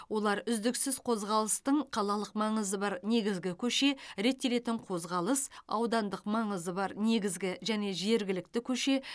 олар үздіксіз қозғалыстың қалалық маңызы бар негізгі көше реттелетін қозғалыс аудандық маңызы бар негізгі және жергілікті көше